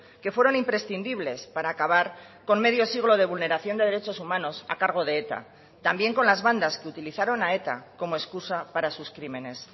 que fueron imprescindibles para acabar con medio siglo de vulneración de derechos humanos a cargo de eta también con las bandas que utilizaron a eta como excusa para sus crímenes